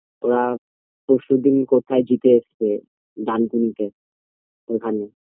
ওরা পরশুদিন কোথায় জিতে এসছে ডানকুনিতে ওখানে